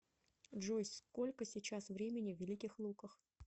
джой сколько сейчас времени в великих луках